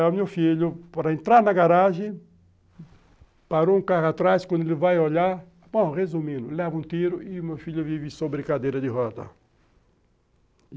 É, o meu filho, para entrar na garagem, parou um carro atrás, quando ele vai olhar, bom, resumindo, leva um tiro e o meu filho vive sobre cadeira de roda.